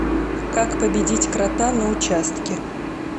как победить крота на участке